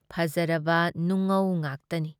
ꯐꯖꯔꯕ ꯅꯨꯡꯉꯧ ꯉꯥꯛꯇꯅꯤ ꯫